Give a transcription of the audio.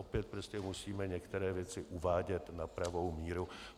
Opět prostě musíme některé věci uvádět na pravou míru.